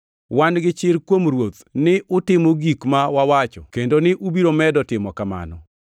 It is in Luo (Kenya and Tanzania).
Wan gi chir kuom Ruoth ni utimo gik ma wawacho kendo ni ubiro medo timo kamano.